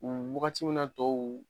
U wagati min na tɔw